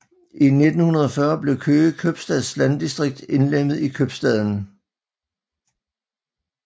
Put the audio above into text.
I 1940 blev Køge købstads landdistrikt indlemmet i købstaden